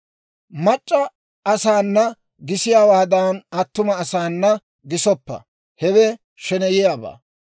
« ‹Mac'c'a asaana gisiyaawaadan attuma asaana gisoppa; hewe sheneyiyaabaa.